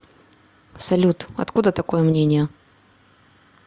салют откуда такое мнение